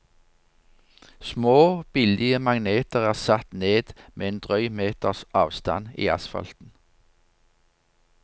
Små, billige magneter er satt ned med en drøy meters avstand i asfalten.